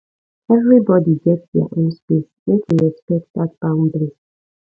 everybodi get their own space make we respect dat boundary